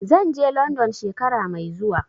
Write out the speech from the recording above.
Zan je London shekara mai zuwa.